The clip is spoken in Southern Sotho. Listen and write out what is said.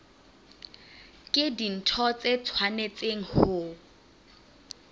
ke dintho tse tshwanetseng ho